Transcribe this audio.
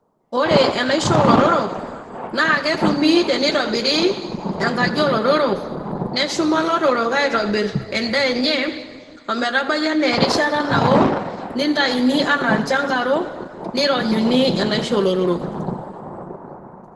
Ore enaisho oolotorok naa ketumi tenitobiri enkaji olotorok ,neshuma lotorok aitobir endaa enye ometabai anaa erishata nao, nitaini anaa ilchangaro nironyuni enaisho olotorok .